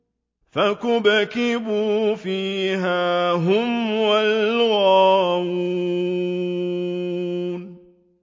فَكُبْكِبُوا فِيهَا هُمْ وَالْغَاوُونَ